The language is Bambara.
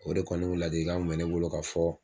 O de kɔni kun ladilikan kun me ne bolo ka fɔ